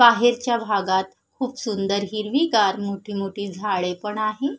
बाहेरच्या भागात खूप सुंदर हिरवीगार मोठी मोठी झाडे पण आहे.